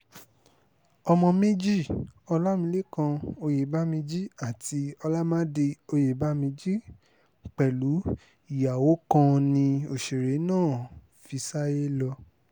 ọmọ méjì ọlámilékàn oyèbómíjì àti olàmádì ọ̀yẹ́báméjì pẹ̀lú ìyàwó kan ni òṣèré náà fi sáyé lọ